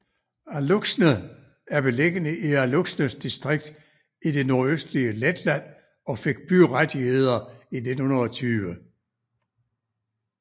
Alūksne er beliggende i Alūksnes distrikt i det nordøstlige Letland og fik byrettigheder i 1920